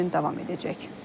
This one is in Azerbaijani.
Sammit iki gün davam edəcək.